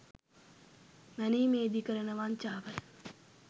මැනීමේදී කරන වංචාවයි.